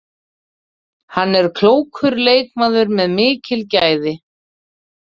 Hann er klókur leikmaður með mikil gæði.